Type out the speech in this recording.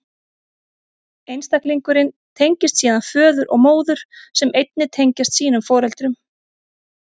Einstaklingurinn tengist síðan föður og móður, sem einnig tengjast sínum foreldrum.